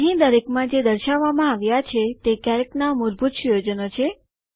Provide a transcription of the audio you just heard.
અહીં દરેકમાં જે દર્શાવવામાં આવ્યા છે તે કેલ્કના મૂળભૂત સુયોજનો છે